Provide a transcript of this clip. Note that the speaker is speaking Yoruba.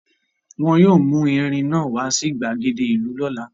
Wọn yóò mú erin náà wá sí ìgbàgede ìlú lọ́la.